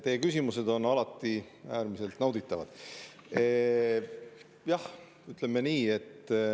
Teie küsimused on alati äärmiselt nauditavad.